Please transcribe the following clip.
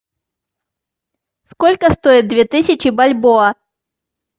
сколько стоит две тысячи бальбоа